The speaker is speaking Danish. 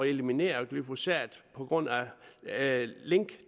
eliminere glyphosat på grund af link